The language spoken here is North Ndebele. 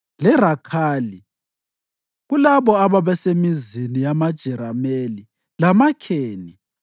leRakhali; kulabo ababesemizini yamaJerameli lamaKheni.